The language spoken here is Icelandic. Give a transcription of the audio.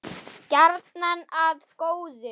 Gjarnan að góðu.